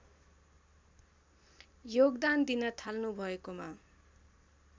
योगदान दिन थाल्नुभएकोमा